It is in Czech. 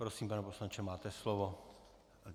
Prosím, pane poslanče, máte slovo.